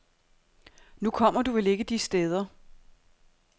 Nu kommer du vel ikke de steder.